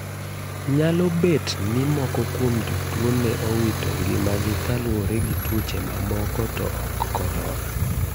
Nyalo bet ni moko kuom jotuo ne owito ngima gi kaluwore gi tuoche mamoko to ok korona.